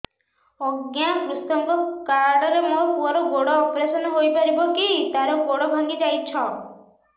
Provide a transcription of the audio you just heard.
ଅଜ୍ଞା କୃଷକ କାର୍ଡ ରେ ମୋର ପୁଅର ଗୋଡ ଅପେରସନ ହୋଇପାରିବ କି ତାର ଗୋଡ ଭାଙ୍ଗି ଯାଇଛ